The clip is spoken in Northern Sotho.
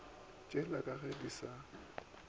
tšeli ka ge di sa